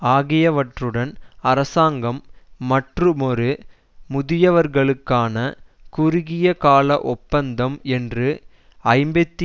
ஆகியவற்றுடன் அரசாங்கம் மற்றுமொரு முதியவர்களுக்கான குறுகிய கால ஒப்பந்தம் என்று ஐம்பத்தி